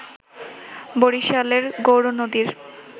বরিশালের গৌরনদীর